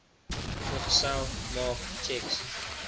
vergesel maak tjeks